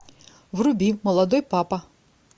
вруби молодой папа